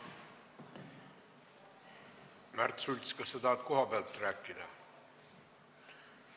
Märt Sults, kas sa tahad kohapealt rääkida?